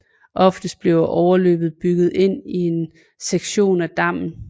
Oftest bliver overløbet bygget ind i en sektion af dammen